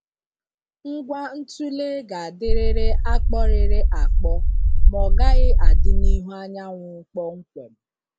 Ngwa ntule ga-adịrịrị akpọrịrị akpọ ma ọgaghị adị n’ihu anyanwụ kpọmkwem.